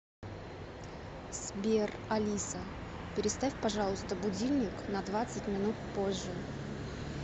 сбер алиса переставь пожалуйста будильник на двадцать минут позже